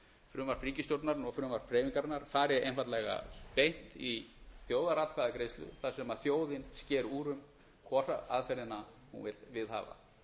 frumvarp ríkisstjórnarinnar og frumvarp hreyfingarinnar fari einfaldlega beint í þjóðaratkvæðagreiðslu þar sem þjóðin sker úr um hvora aðferðina hún vill viðhafa